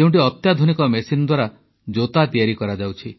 ଯେଉଁଠି ଅତ୍ୟାଧୁନିକ ମେସିନ୍ ଦ୍ୱାରା ଜୋତା ତିଆରି କରାଯାଉଛି